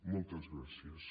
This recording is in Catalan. moltes gràcies